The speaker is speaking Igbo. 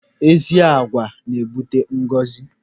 Ezi agwa n'ebute ngọzi.